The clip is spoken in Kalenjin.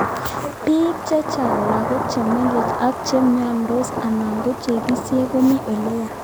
Bik cheehen ,lagok che mengech ak che myondos anan ko nyekisen komi oleya